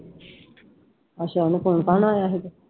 ਅੱਛਾ ਉਹਨੂੰ phone phone ਆਇਆ ਸੀਗਾ।